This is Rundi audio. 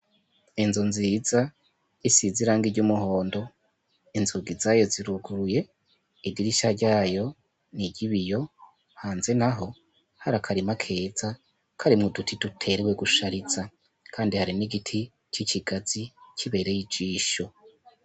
Enzu nziza isiziranga ry'umuhondo inzugi zayo ziruguruye igirisha ryayo nigibe iyo hanze na ho hari akarima keza kari mu duti duterwe gushariza, kandi hari n'igiti k'ikigazi kibereye ijisho.